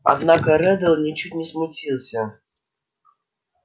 однако реддл ничуть не смутился